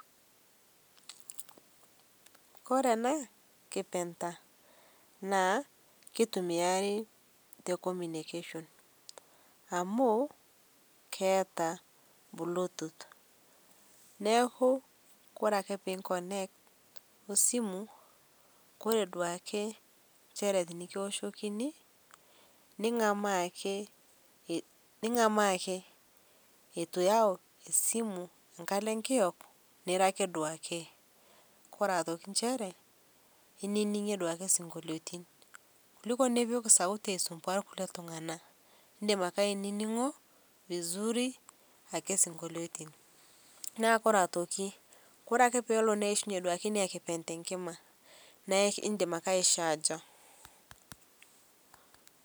Kore ena kipeta naa keitumiari te communcation ammu keata bluetooth naaku kore ake pei connect o simu kore duake nchere tinikioshokini ningamaa ake ningamaa akee etuu iyau simu nkaloo nkiyok niro ake duake kore otoki ncheree ininingie duake sinkoliotin kuliko nipik sauti aisumbuaya lkulie tung'ana indim akee aininingo vizuri ake sinkoliotin naa kore atoki kore ake peelo neishinye inia kipente nkima naa indim ake aichajaa.